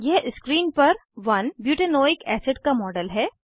यह स्क्रीन पर 1 butanoic acid का मॉडल है